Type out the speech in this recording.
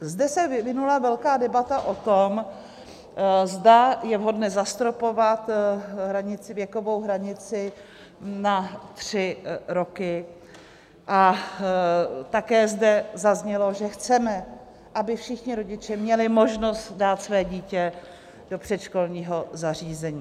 Zde se vyvinula velká debata o tom, zda je vhodné zastropovat věkovou hranici na tři roky, a také zde zaznělo, že chceme, aby všichni rodiče měli možnost dát své dítě do předškolního zařízení.